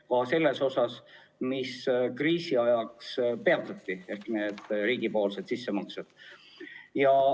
Ka selle osa väljamakse, mis kriisi ajaks peatati, need riigi sissemaksed.